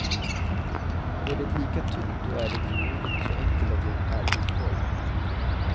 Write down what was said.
Går det lika tungt då är det förmodligen så enkelt att jag är ur form.